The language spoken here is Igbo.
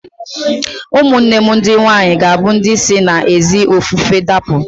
Ụmụnne m ndị nwaanyị ga-abụ ndị si n'ezi ofufe dapụ